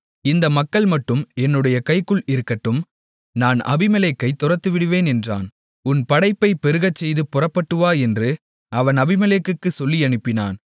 இந்த மக்கள்மட்டும் என்னுடைய கைக்குள் இருக்கட்டும் நான் அபிமெலேக்கைத் துரத்திவிடுவேன் என்றான் உன் படையைப் பெருகச்செய்துப் புறப்பட்டுவா என்று அவன் அபிமெலேக்குக்குச் சொல்லியனுப்பினான்